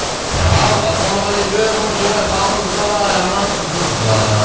ал ассалаумағалейкум очубай қалыңыз қалай амансыз ба